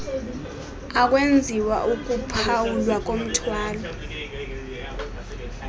akwenziwa ukuphawulwa komthwalo